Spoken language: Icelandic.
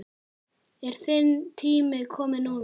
Er þinn tími kominn núna?